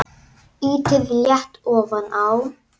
Ýtið létt ofan á.